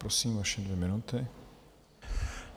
Prosím, vaše dvě minuty.